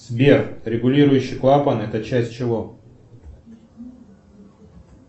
сбер регулирующий клапан это часть чего